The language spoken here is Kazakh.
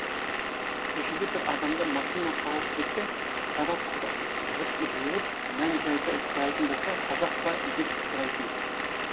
көшеде бір адамды машина қағып кетсе қара құра жұрт жиылып мән жайды сұрайтын болса қазақ па деп сұрайтын